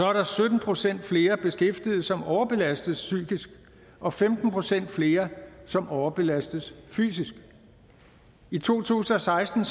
er der sytten procent flere beskæftigede som overbelastes psykisk og femten procent flere som overbelastes fysisk i to tusind og seksten